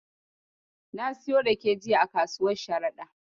Na siyo rake jiya a kasuwar Sharaɗa.